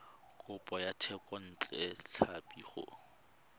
kopo ya thekontle tlhapi go